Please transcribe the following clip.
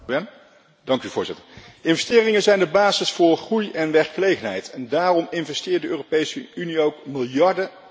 Investeringen zijn de basis voor groei en werkgelegenheid en daarom investeert de Europese Unie ook miljarden in onderzoek en ontwikkeling.